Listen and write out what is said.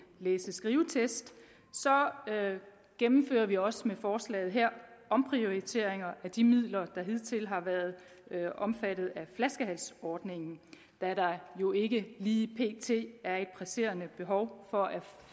læse og skrivetest gennemfører vi også med forslaget her omprioriteringer af de midler der hidtil har været omfattet af flaskehalsordningen da der jo ikke lige pt er et presserende behov for at